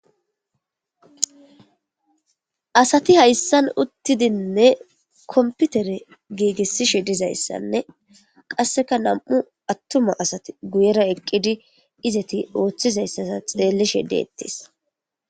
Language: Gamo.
Asati hayssan uttidinne komputere giigissishe dizayssanne qasseka nam7u attuma asati guyera eqqidi izati ooththizayssasa xleellishe dettes.